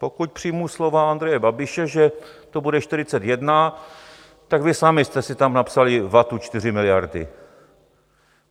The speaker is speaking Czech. Pokud přijmu slova Andreje Babiše, že to bude 41, tak vy sami jste si tam napsali vatu 4 miliardy.